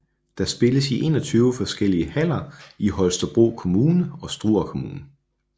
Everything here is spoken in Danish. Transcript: Der spilles i 21 forskellige haller i Holstebro Kommune og Struer Kommune